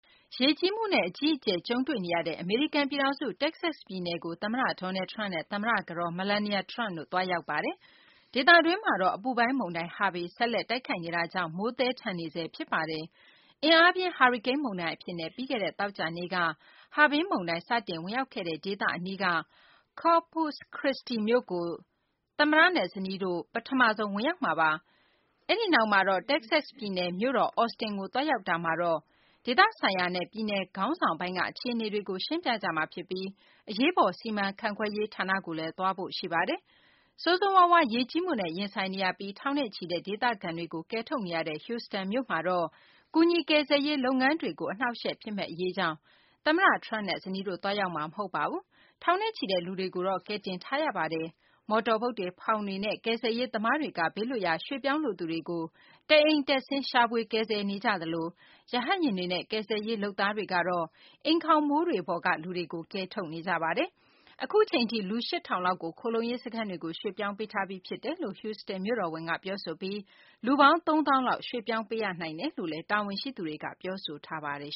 ရေကြီးမှုနဲ့ အကြီးအကျယ် ကြုံတွေ့နေရတဲ့ အမေရိကန် ပြည်ထောင်စု တက္ကဆက် ပြည်နယ်ကို သမ္မတ Donald Trump နဲ့ သမ္မတ ကတော် Melania Trump တို့ သွားရောက်ပါတယ်။ ဒေသတွင်းမှာတော့ အပူပိုင်းမုန်တိုင်း Harvey ဆက်လက် တိုက်ခတ်နေတာကြောင့် မိုးသည်းထန်နေဆဲ ဖြစ်ပါတယ်။ အင်အားပြင်း ဟာရီကိန်းမုန်တိုင်း အဖြစ်နဲ့ ပြီးခဲ့တဲ့ သောကြာနေ့က စတင် ဝင်ရောက်ခဲ့တဲ့ ဒေသ အနီးက Corpus Christi မြို့ကို သမ္မတနဲ့ ဇနီးတို့ ပထမဆုံး ဝင်ရောက်မှာပါ။ အဲဒီနောက်မှာတော့ တက္ကဆက် ပြည်နယ် မြို့တော် Austin ကို သွားရောက်တာမှာတော့ ဒေသဆိုင်ရာနဲ့ ပြည်နယ် ခေါင်းဆောင်ပိုင်းက အခြေအနေတွေကို ရှင်းပြကြမှာဖြစ်ပြီး အရေးပေါ် စီမံခန့်ခွဲရေး ဌာနကိုလည်း သွားဖို့ ရှိပါတယ်။ ဆိုးဆိုးရွားရွား ရေကြီးမှုနဲ့ ရင်ဆိုင်နေရပြီး ထောင်နဲ့ချီတဲ့ ဒေသခံတွေကို ကယ်ထုတ်နေရတဲ့ Houston မြို့မှာတော့ ကူညီကယ်ဆယ်ရေး လုပ်ငန်းတွေကို အနှောင့်အယှက် ဖြစ်မယ့် အရေးကြောင့် သမ္မတ Trumpနဲ့ ဇနီးတို့ သွားရောက်မှာ မဟုတ်ပါဘူး။ ထောင်နဲ့ချီတဲ့ လူတွေကို ကယ်တင်ထားရပါတယ်။ မော်တော်ဘုတ်တွေ ဖောင်တွေနဲ့ ကယ်ဆယ်ရေး သမားတွေကတော့ ဘေးလွတ်ရာ ရွှေ့ပြောင်းလိုသူတွေကို တအိမ်တက်ဆင်း ရှာဖွေ ကယ်ဆယ်နေကြသလို ရဟတ်ယာဉ်တွေနဲ့ ကယ်ဆယ်ရေး လုပ်သားတွေကတော့ အိမ်ခေါင်မိုးတွေပေါ်က လူတွေကို ကယ်ထုတ်နေကြပါတယ်။ အခုအချိန်ထိ လူ ၈ ထောင်လောက်ကို ခိုလှုံရေး စခန်းတွေကို ရွှေ့ပြောင်းပေးထားပြီး ဖြစ်တယ်လို့ Houstan မြို့တော်ဝန်က ပြောဆိုပြီး လူပေါင်း ၃ သောင်းလောက် ရွှေ့ပြောင်းပေးရနိုင်တယ်လို့လည်း တာဝန်ရှိသူတွေက ပြောဆိုကြပါတယ်